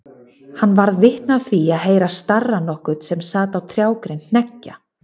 Hann varð vitni af því að heyra starra nokkurn sem sat á trjágrein hneggja.